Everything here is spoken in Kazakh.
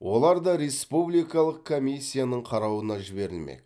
олар да республикалық комиссияның қарауына жіберілмек